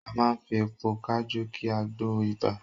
A máa fi èpo kajú ki àgbo ibà